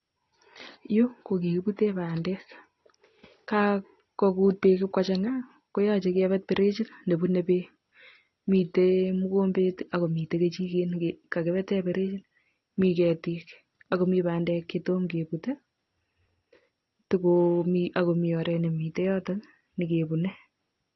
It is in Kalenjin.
Yu kokikiputen pandek kakogut pek ipkochanga koyoche kepet pirechit nepune pek .mitei mukombet akomitei kichiket nekakipete pirechit mi ketik Ako mi pandek chetom keput tikomi akomioret nemitei yoto nekepune